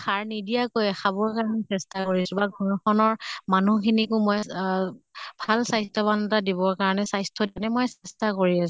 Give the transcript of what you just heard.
সাৰ নিদিয়াকৈয়ে খাবৰ কাৰণে চেষ্টা কৰিছো বা ঘৰ খনৰ মানুহ খিনিকো মই অহ ভাল স্বাস্থ্য়ৱান এটা দিবৰ কাৰণে স্বাস্থ্য়ৰ কাৰণে মই চেষ্টা কৰি আছো।